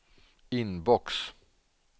inbox